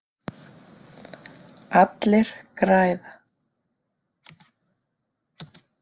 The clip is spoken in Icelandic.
Allir græða.